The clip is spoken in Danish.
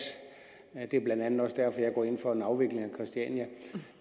det er blandt andet også derfor jeg går ind for en afvikling af christiania